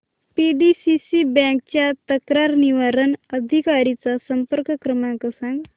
PDCC bank च्या तक्रार निवारण अधिकारी चा संपर्क क्रमांक सांग